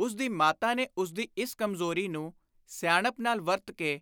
ਉਸਦੀ ਮਾਤਾ ਨੇ ਉਸਦੀ ਇਸ ਕਮਜ਼ੋਰੀ ਨੂੰ ਸਿਆਣਪ ਨਾਲ ਵਰਤ ਕੇ